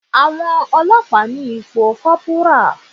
Àwọn Ọlọ́pàá ni ipò kọ́bùrà.